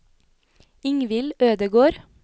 Ingvill Ødegård